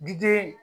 Biden